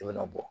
I bɛna bɔ